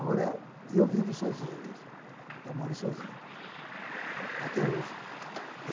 Agora, eu vivo sozinho mesmo, eu moro sozinho até hoje.